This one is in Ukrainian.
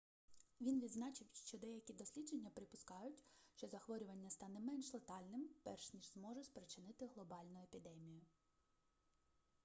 він відзначив що деякі дослідження припускають що захворювання стане менш летальним перш ніж зможе спричинити глобальну епідемію